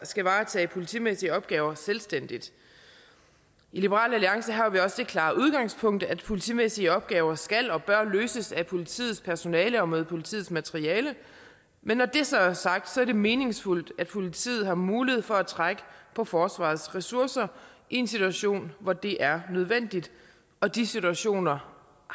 skal varetage politimæssige opgaver selvstændigt i liberal alliance har vi også det klare udgangspunkt at politimæssige opgaver skal og bør løses af politiets personale og med politiets materiale men når det så er sagt er det meningsfuldt at politiet har mulighed for at trække på forsvarets ressourcer i en situation hvor det er nødvendigt og de situationer